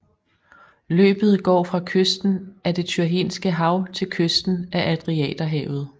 Løbet går fra kysten af det Tyrrhenske hav til kysten af Adriaterhavet